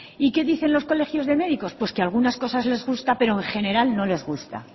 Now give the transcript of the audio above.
y qué dicen los colegios de médicos pues que algunas cosas les gustan pero en general no les gusta